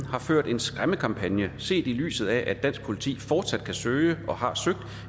har ført en skræmmekampagne set i lyset af at dansk politi fortsat kan søge og har søgt